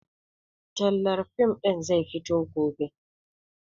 Tallar fim ɗin zai fito gobe